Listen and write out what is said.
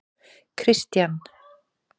Kristian